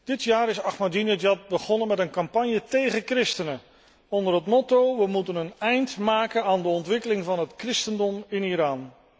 Dit jaar is Ahmadinejad begonnen met een campagne tegen christenen onder het motto we moeten een eind maken aan de ontwikkeling van het christendom in Iran.